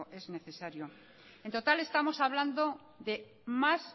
es necesario en total estamos hablando de más